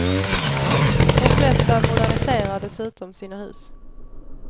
De flesta moderniserar dessutom sina hus.